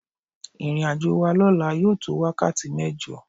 Ìrìnàjò wa lọ́la yóò tó wákàtí mẹ́jọ.